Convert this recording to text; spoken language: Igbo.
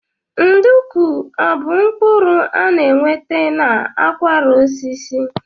Nduku ọ bụ mkpụrụ a na-enweta n'akwara osisi?